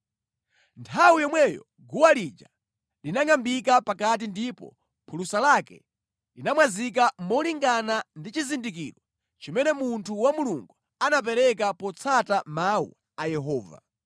Nthawi yomweyo guwa lija linangʼambika pakati ndipo phulusa lake linamwazika molingana ndi chizindikiro chimene munthu wa Mulungu anapereka potsata mawu a Yehova.